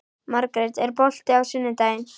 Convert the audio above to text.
Margrjet, er bolti á sunnudaginn?